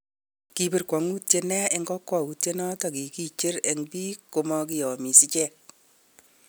Kibirgwa'nget nia eng kokwoutyo noton nekikicher eng bik komokiyomiss icheg